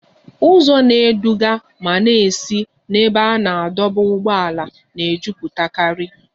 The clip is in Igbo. Ụzọ na-eduga ma na-esi n'ebe a na-adọba ụgbọala na-ejụpụtakari